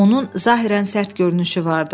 Onun zahirən sərt görünüşü vardı.